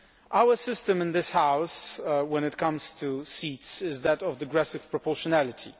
Our system in this House, when it comes to seats, is that of digressive proportionality.